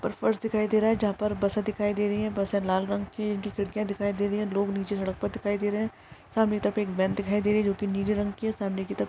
ऊपर फर्श दिखाई दे रहा है जहा पर बसे दिखाई दे रही है बस लाल रंग की इनकी खिडकीया दिखाई दे रही है लोग नीचे सड़क पर दिखाई दे रहे है सामने की तरफ वॅन दिखाई दे रही है जोकि नीले रंग की है सामने की तरफ--